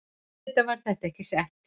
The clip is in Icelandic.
Auðvitað er þetta ekki sett